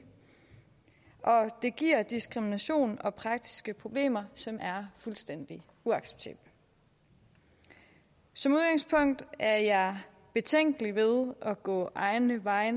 det giver diskrimination og praktiske problemer som er fuldstændig uacceptable som udgangspunkt er jeg betænkelig ved at gå egne veje